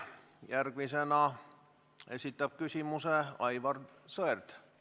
Järgmisena esitab küsimuse Aivar Sõerd.